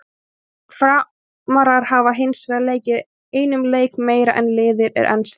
Framarar hafa hinsvegar leikið einum leik meira en liðið er enn stigalaust.